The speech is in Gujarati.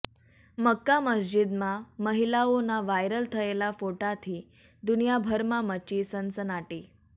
મક્કા મસ્જિદમાં મહિલાઓના વાયરલ થયેલા ફોટાથી દુનિયાભરમાં મચી સનસનાટી